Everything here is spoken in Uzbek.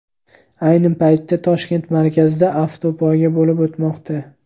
Ayni paytda Toshkent markazida avtopoyga bo‘lib o‘tmoqda.